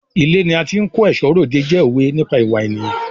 Ilé ni a ti ń kó ẹ̀ṣọ́ r'òde jẹ́ òwe nípa ìwà ènìyàn.